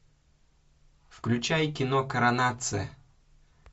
включай кино коронация